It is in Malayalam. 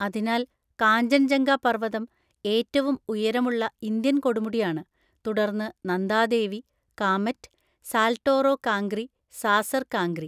അതിനാൽ, കാഞ്ചൻജംഗ പർവ്വതം ഏറ്റവും ഉയരമുള്ള ഇന്ത്യൻ കൊടുമുടിയാണ്, തുടർന്ന് നന്ദാദേവി, കാമെറ്റ്, സാൽട്ടോറോ കാംഗ്രി, സാസർ കാംഗ്രി.